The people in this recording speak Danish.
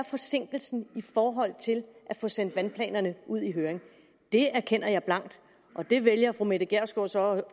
forsinkelsen i forhold til at få sendt vandplanerne ud i høring det erkender jeg blankt og der vælger fru mette gjerskov så at